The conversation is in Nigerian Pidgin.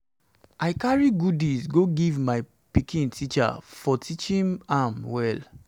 i carry goodies go give my pikin teacher for teaching am well